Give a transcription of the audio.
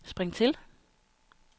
spring til